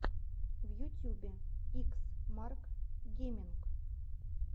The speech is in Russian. в ютюбе икс марк геминг